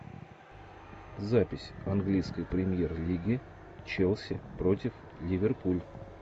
запись английской премьер лиги челси против ливерпуль